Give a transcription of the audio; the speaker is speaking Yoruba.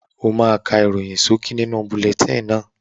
O máa ká ìròyìn ṣókí nínú bulẹtíìnì náà.